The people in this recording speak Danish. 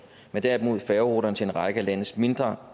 men derimod færgeruterne til en række af landets mindre